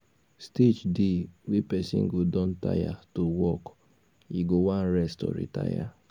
stage dey wey person go don tire to work e go wan rest or retire